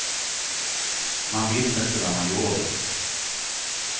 Man visste inte vad man gjorde.